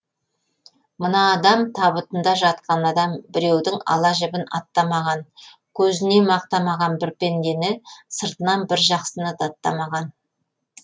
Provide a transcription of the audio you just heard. мына адам табытында жатқан адам біреудің ала жібін аттамаған көзіне мақтамаған бір пендені сыртынан бір жақсыны даттамаған